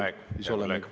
Aeg, hea kolleeg!